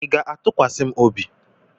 ị ga-atụkwasị m obi?